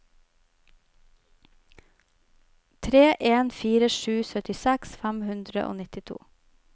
tre en fire sju syttiseks fem hundre og nittito